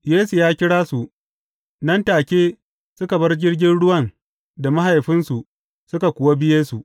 Yesu ya kira su, nan take suka bar jirgin ruwan da mahaifinsu suka kuwa bi Yesu.